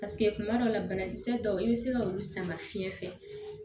Paseke kuma dɔw la banakisɛ dɔw i bɛ se ka olu sama fiyɛn fɛ